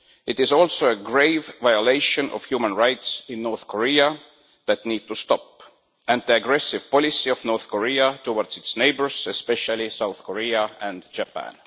It is also the grave violations of human rights in North Korea that needs to stop, and the aggressive policy of North Korea towards its neighbours, especially South Korea and Japan.